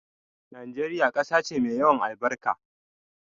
Nigeria ƙasa ce mai yawan albarka